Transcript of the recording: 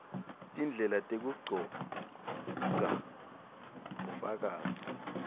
tindlela tekugcogca bufakazi